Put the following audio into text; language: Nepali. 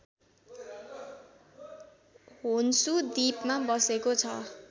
होन्सु द्वीपमा बसेको छ